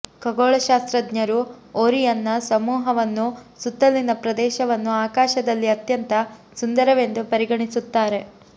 ಖಗೋಳಶಾಸ್ತ್ರಜ್ಞರು ಓರಿಯನ್ನ ಸಮೂಹವನ್ನು ಸುತ್ತಲಿನ ಪ್ರದೇಶವನ್ನು ಆಕಾಶದಲ್ಲಿ ಅತ್ಯಂತ ಸುಂದರವೆಂದು ಪರಿಗಣಿಸುತ್ತಾರೆ